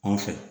Anw fɛ